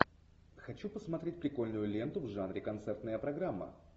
хочу посмотреть прикольную ленту в жанре концертная программа